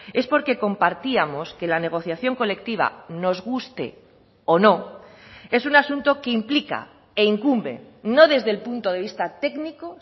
es porque compartíamos que la negociación colectiva nos guste o no es un asunto que implica e incumbe no desde el punto de vista técnico